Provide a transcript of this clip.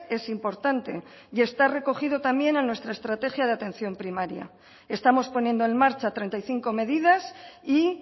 es importante y está recogido también en nuestra estrategia de atención primaria estamos poniendo en marcha treinta y cinco medidas y